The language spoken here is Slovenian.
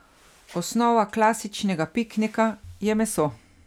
Osnova klasičnega piknika je meso.